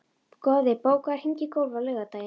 Goði, bókaðu hring í golf á laugardaginn.